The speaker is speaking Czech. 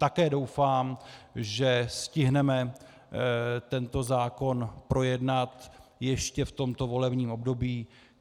Také doufám, že stihneme tento zákon projednat ještě v tomto volebním období.